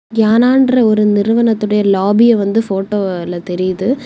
யானான்ற ஒரு நிறுவனத்துடைய லாபிய வந்து போட்டோவ்ல தெரியுது.